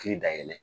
Kiri da yɛlɛ